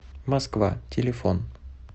москва телефон